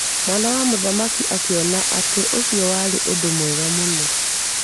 Mwana wa mũthamaki akiona atĩ ũcio warĩ ũndũ mwega mũno.